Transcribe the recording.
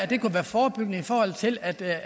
det kunne være forebyggende i forhold til at det